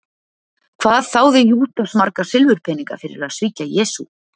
Hvað þáði Júdas marga silfurpeninga fyrir að svíkja Jesú?